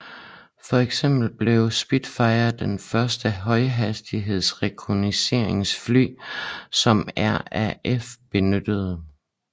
For eksempel blev Spitfire det første højhastigheds rekognosceringsfly som RAF benyttede